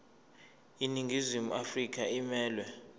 iningizimu afrika emelwe